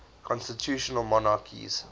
constitutional monarchies